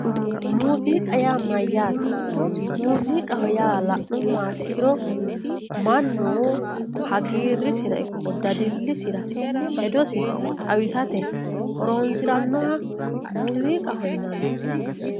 muuziiqa yaa mayyaate. muuziiqaho yaa la'nummoha ikkiro mannu hagiirrisira ikko dadillisira hedosi xawisate horoonsirannoha muuziiqaho yinanni.